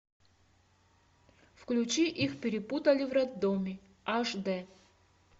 включи их перепутали в роддоме аш дэ